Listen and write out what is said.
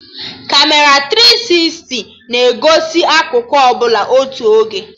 Kamera tiri sisti na-egosi akụkụ ọbụla otu oge